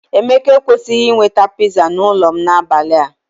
Emeka ekwesịghị iweta pizza n'ụlọ m n'abalị a.